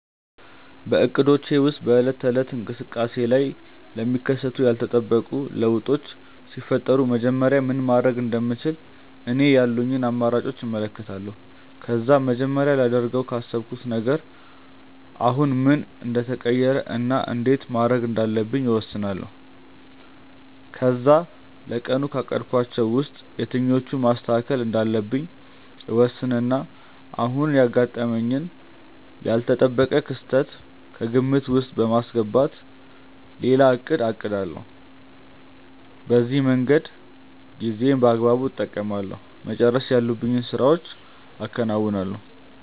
በእቅዶቼ ወይም በዕለት ተዕለት እንቅስቃሴዬ ላይ ለሚከሰቱ ያልተጠበቁ ለውጦች ሲፈጠሩ መጀመሪያ ምን ማድረግ እንደምችል እኔ ያሉኝን አማራጮች እመለከታለሁ። ከዛ መጀመሪያ ላደርገው ካሰብኩት ነገር አሁን ምን እንደተቀየረ እና እንዴት ማየት እንዳለብኝ እወስናለሁ። ከዛ ለቀኑ ካቀድኳቸው ውስጥ የትኞቹን ማስተካከል እንዳለብኝ እወስንና አሁን ያጋጠመኝን ያልተጠበቀ ክስተት ከግምት ውስጥ በማስገባት ሌላ እቅድ አቅዳለሁ። በዚህ መንገድ ጊዜዬን በአግባቡ እጠቀማለሁ፤ መጨረስ ያሉብኝን ስራዎችም አከናውናለሁ።